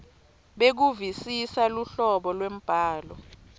bekuvisisa luhlobo lwembhalo